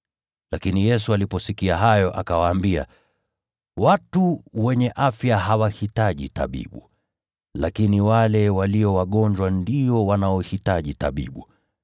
Lakini Yesu aliposikia hayo, akawaambia, “Watu wenye afya hawahitaji tabibu, lakini wale walio wagonjwa ndio wanaohitaji tabibu.